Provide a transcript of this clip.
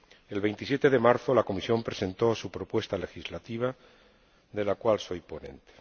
El 27 de marzo la Comisión presentó su propuesta legislativa, de la cual soy ponente.